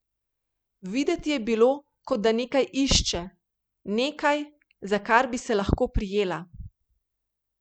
Videti je bilo, kot da nekaj išče, nekaj, za kar bi se lahko prijela.